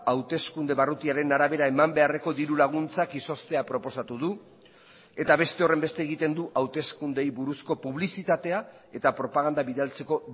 hauteskunde barrutiaren arabera eman beharreko diru laguntzak izoztea proposatu du eta beste horrenbeste egiten du hauteskundeei buruzko publizitatea eta propaganda bidaltzeko